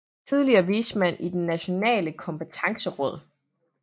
Tidligere vismand i Det nationale kompetenceråd